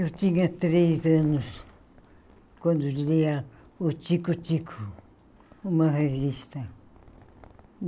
Eu tinha três anos quando lia o Tico-Tico, uma revista.